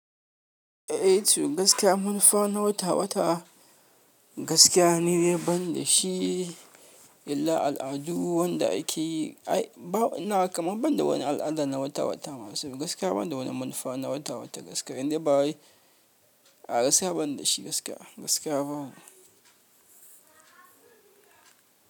Eh, to gaskiya munfa na wata-wata, gaskiya ne ban da shi, illa al'adu wanda ake yi, ai ba ina kamar ban da wani al'ada na wata-wata masu, gaskiya ban da wani munfa na wata-wata gaskiya, in dai ba wai a gaskiya ban da shi gaskiya, gaskiya babu.